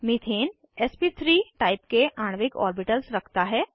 methane एसपी3 type के आणविक ऑर्बिटल्स रखता है